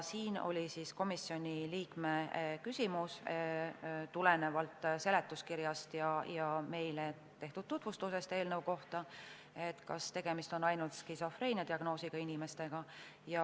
Siin oli komisjoni liikmel küsimus tulenevalt seletuskirjast ja meile esitatud eelnõu tutvustusest, et kas tegemist on ainult skisofreenia diagnoosiga inimestega.